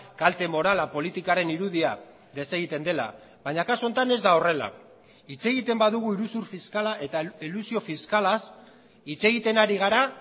kalte morala politikaren irudia desegiten dela baina kasu honetan ez da horrela hitz egiten badugu iruzur fiskala eta elusio fiskalaz hitz egiten ari gara